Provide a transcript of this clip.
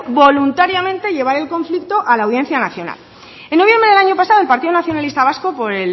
voluntariamente llevar el conflicto a la audiencia nacional en noviembre del año pasado el partido nacionalista vasco por